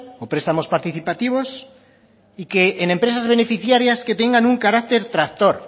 o prestamos participativos y que en empresas beneficiarias que tengan un carácter tractor